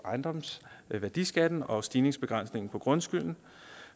ejendomsværdiskatten og stigningsbegrænsningen af grundskylden